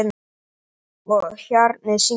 Og hjarnið syngur.